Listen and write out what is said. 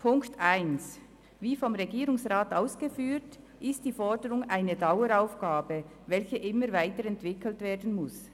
– Zu Ziffer 1: Wie vom Regierungsrat ausgeführt, ist die Forderung eine Daueraufgabe, die immer weiterentwickelt werden muss.